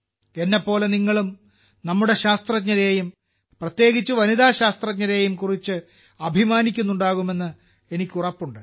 എന്നെപ്പോലെ നിങ്ങളും നമ്മുടെ ശാസ്ത്രജ്ഞരെയും പ്രത്യേകിച്ച് വനിതാ ശാസ്ത്രജ്ഞരെയും കുറിച്ച് അഭിമാനിക്കുന്നുണ്ടാകുമെന്ന് എനിക്ക് ഉറപ്പുണ്ട്